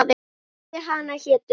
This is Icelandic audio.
Heiði hana hétu